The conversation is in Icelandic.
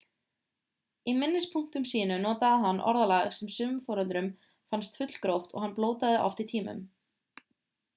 í minnispunktum sínum notaði hann orðalag sem sumum foreldrum fannst fullgróft og hann blótaði oft í tímum